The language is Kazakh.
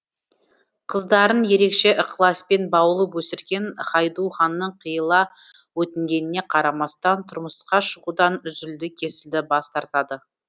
қыздарын ерекше ықыласпен баулып өсірген хайду ханның қиыла өтінгеніне қарамастан тұрмысқа шығудан үзілді кесілді бас тартады